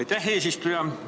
Aitäh, eesistuja!